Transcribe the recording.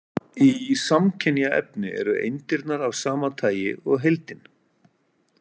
Í samkynja efni eru eindirnar af sama tagi og heildin.